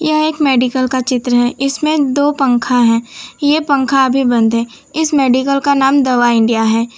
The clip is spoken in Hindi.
यह एक मेडिकल का चित्र है इसमें दो पंखा है ये पंखा अभी बंद है इस मेडिकल का नाम दवा इंडिया है।